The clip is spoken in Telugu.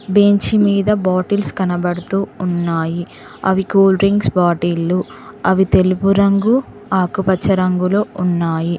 బెంచి మీద బాటిల్స్ కనబడుతూ ఉన్నాయి అవి కూల్ డ్రింక్స్ బాటిళ్లు అవి తెలుపురంగు ఆకుపచ్చ రంగులొ ఉన్నాయి.